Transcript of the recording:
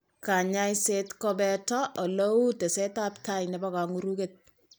Kanyoiset kobeote ole u tesetab tai nebo kang'uruketab .